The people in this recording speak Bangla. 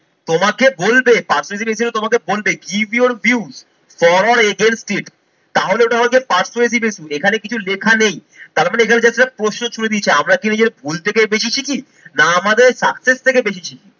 তমাকে বোলবে persuasive essay তে তোমাকে বলবে give your view for a against this তাহলে এটা হয় যে persuasive এ শুধু। এখানে কিছু লেখা নেই তার মানে এটা হচ্ছে একটা প্রশ্ন ছুরে দিয়েছে আমরা কি ভুল থেকে বেশি শিখি না আমাদের success থেকে বেশি শিখি?